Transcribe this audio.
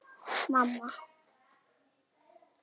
Mamma fórnaði höndum.